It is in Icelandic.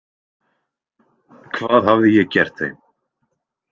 Hvað hafði ég gert þeim?